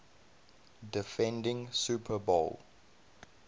defending super bowl